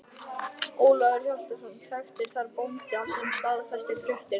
Ólafur Hjaltason þekkti þar bóndann sem staðfesti fréttirnar.